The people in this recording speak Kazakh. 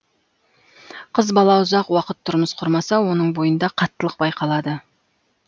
қыз бала ұзақ уақыт тұрмыс құрмаса оның бойында қаттылық байқалады